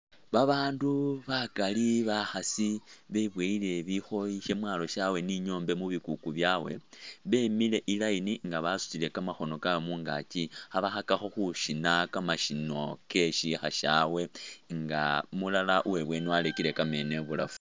Babaandu bakali bakhaasi bebowele bikhoyi shamwalo shawe ni nyombe mubikuku byawe bemile I’line nga basutile kamakhono kawe mungakyi khabakhakakho khusina kamashino ke shikha shawe nga umulala uwebweni warekele kameno ibulafu.